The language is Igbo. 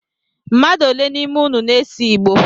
Mmmadụ ole n’ime inu na-ese Igbo?